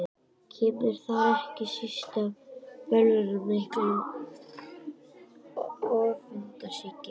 Kemur þar ekki síst til bölvaldurinn mikli, öfundsýki.